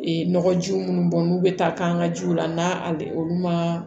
Ee nɔgɔjiw minnu bɔn n'u be taa k'an ka jiw la n'a olu ma